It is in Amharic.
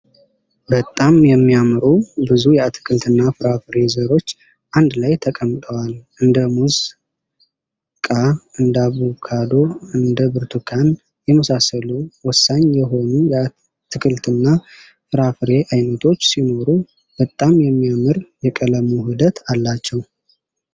በጣም የሚያምሩ ብዙ የአትክልትና ፍራፍሬ ዘሮች አንድ ላይ ተቀምጠዋል እንደ ሙዝ ቃ እንዳቡካዶ እንደ ብርቱካን የመሳሰሉ ወሳኝ የሆኑ የአትክልትና ፍራፍሬ አይነቶች ሲኖሩ። በጣም የሚያምር የቀለም ውህደት አላቸው።